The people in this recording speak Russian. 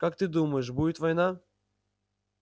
как ты думаешь будет война